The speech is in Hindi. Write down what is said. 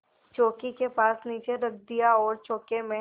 चौकी के पास नीचे रख दिया और चौके में